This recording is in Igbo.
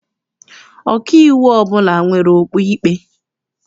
Ọkaiwu ọbụla nwere okpu ikpe.